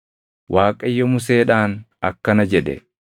Waaqayyo Museedhaan akkana jedhe;